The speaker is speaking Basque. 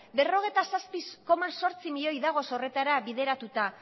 berrogeita zazpi koma zortzi milioi daude horretara bideratuta